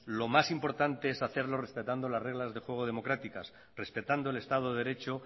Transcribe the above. lo más importante es hacerlo respetando las reglas de juego democráticas respetando el estado de derecho